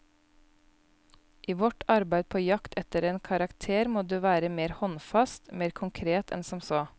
I vårt arbeid på jakt etter en karakter må du være mer håndfast, mer konkret enn som så.